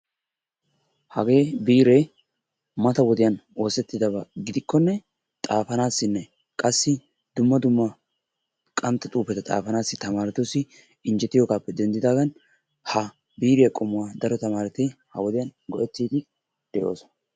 Hagee biiree mata wodiyan oosettidaba gidikkonne xaafanaassinne qassi dumma dumma qantta xuufeta xaafanaassi tamaaretussi injjetiyoogaappe denddidaagan ha biiriyaa qommuwa daro tamaareti ha wodiyan go"ettiiddi de'oosona.